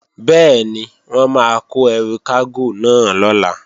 Bẹ́ẹ̀ni, wọ́n máa kó ẹrù kágò náà lọ̀la